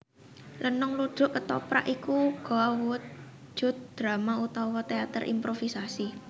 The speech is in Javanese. Lenong ludruk kethoprak iku uga awujud drama utawa téater improvisasi